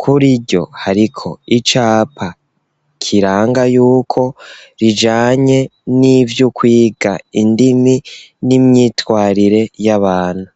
kuriryo hariko icapa kiranga yuko rijanye nivy'ukwiga indimi n'imyitwarire y'abantu.